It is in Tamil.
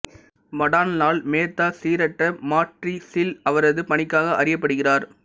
மடான் லால் மேத்தா சீரற்ற மாட்ரிஸில் அவரது பணிக்காக அறியப்படுகிறார்